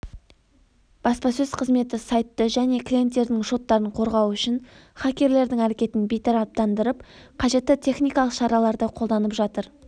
баспасөз қызметі сайтты және клиенттердің шоттарын қорғау үшін хакерлердің әрекетін бейтараптандырып қажетті техникалық шараларды қолданып жатыр